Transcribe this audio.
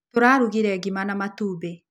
Tũrarugire ngima na matumbĩ